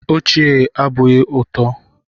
Ochié abụghị ụtọ.